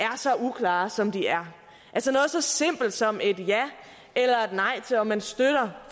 så uklare som de er altså noget så simpelt som et ja eller nej til om man støtter